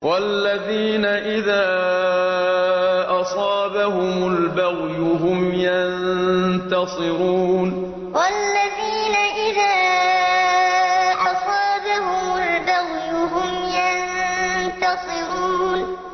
وَالَّذِينَ إِذَا أَصَابَهُمُ الْبَغْيُ هُمْ يَنتَصِرُونَ وَالَّذِينَ إِذَا أَصَابَهُمُ الْبَغْيُ هُمْ يَنتَصِرُونَ